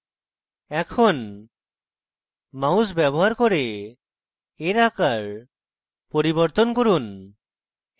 এখন mouse ব্যবহার করে এর আকার পরিবর্তন করুন